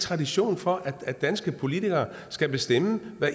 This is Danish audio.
tradition for at danske politikere skal bestemme hvad